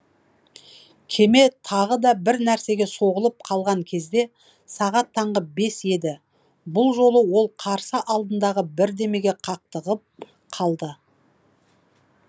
кеме тағы да бір нәрсеге соғылып қалған кезде сағат таңғы бес еді бұл жолы ол қарсы алдындағы бірдемеге қақтығып қалды